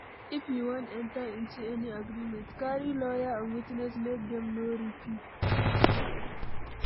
If you wan enter into any agreement, carry lawyer and witness make dem no rip you